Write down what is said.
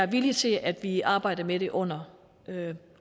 villig til at vi arbejder med det under